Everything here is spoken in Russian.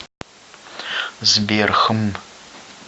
сбер хм